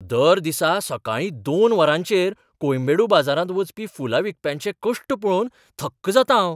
दर दिसा सकाळीं दोन वरांचेर कोयम्बेडू बाजारांत वचपी फुलां विकप्यांचे कश्ट पळोवन थक्क जातां हांव.